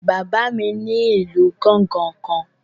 Bàbá mi ní ìlù gángan kan